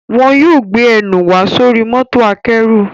Wọn yóò gbé ẹnù wa sóri mọ́tò akẹ́rù